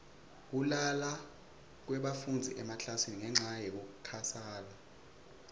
kulala kwebafundzi emaklasini ngenca yekukhatsala